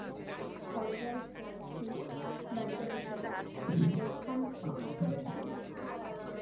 horizon girls বালিকা বিদ্যালয়, তো ওখান থেকে করেছিলাম